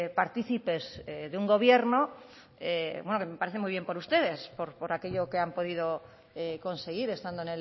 partícipes de un gobierno que me parece muy bien por ustedes por aquello que han podido conseguir estando